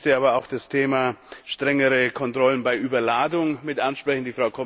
Ich möchte aber auch das Thema strengere Kontrollen bei Überladung ansprechen.